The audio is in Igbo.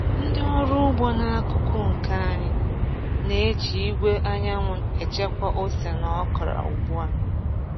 Ndị ọrụ ugbo n’akuku nke anyị na-eji igwe anyanwụ echekwa ose na okra ugbu a.